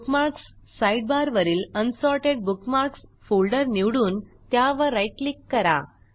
bookmarks साईडबारवरील unsorted bookmarks folder निवडून त्यावर राईट क्लिक करा